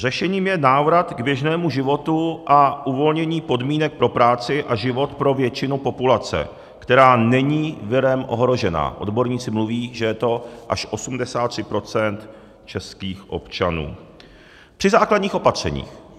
Řešením je návrat k běžnému životu a uvolnění podmínek pro práci a život pro většinu populace, která není virem ohrožena - odborníci mluví, že je to až 83 % českých občanů - při základních opatřeních.